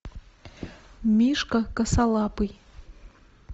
мишка косолапый